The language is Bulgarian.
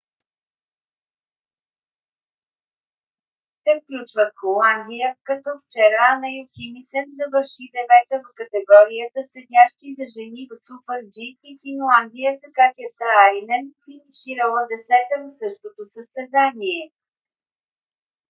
те включват холандия като вчера ана йохимисен завърши девета в категорията седящи за жени в super-g и финландия с катя сааринен финиширала десета в същото състезание